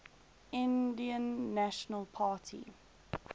indian national army